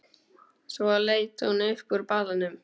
Svo leit hún upp úr balanum.